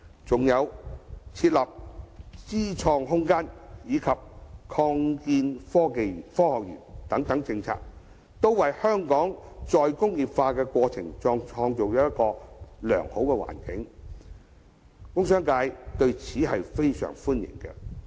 再者，設立"知創空間"及擴建科學園等政策，均為香港再工業化創造良好的環境，工商界對此極表歡迎。